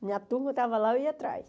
Minha turma estava lá, eu ia atrás.